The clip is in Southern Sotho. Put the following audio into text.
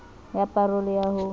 ya pa role ya ho